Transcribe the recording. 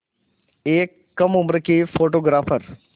एक कम उम्र की फ़ोटोग्राफ़र